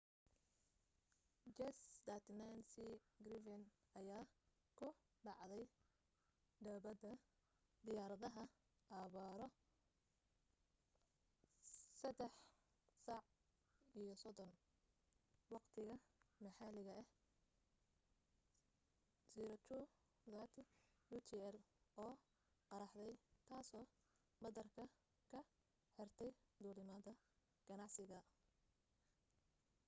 jas 39c gripen ayaa ku dhacday dhabbada diyaaradaha abbaaro 9:30 waqtiga maxalliga ah 0230 utc oo qaraxday taasoo madaarka ka xirtay duulimaadada ganacsiga